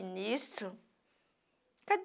E nisso?